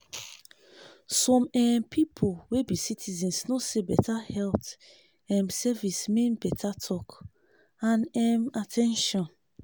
some um people wey be citizen know say better health um service mean better talk and um at ten tion.